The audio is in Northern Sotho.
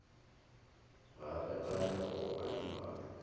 ga re gane go adimana